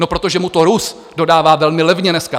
No protože mu to Rus dodává velmi levně dneska.